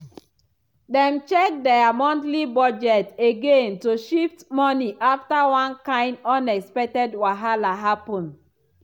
dem check dia monthly budget again to shift money after one kain unexpected wahala happen.